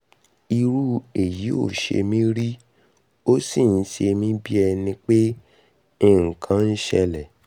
irú èyí ò ṣe mí rí ó sì ń ṣemí bí ẹni pé nǹkan ń ṣẹlẹ̀